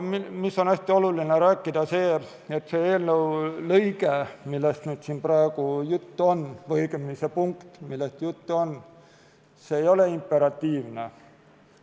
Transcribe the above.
Hästi oluline on see, et see eelnõu lõige, millest siin praegu juttu on, või see punkt, millest juttu on, ei ole imperatiivne.